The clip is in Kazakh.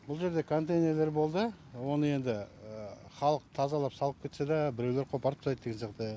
бұл жерде контейнерлер болды оны енді халық тазалап салып кетсе де біреулер қопарып тастайды деген сияқты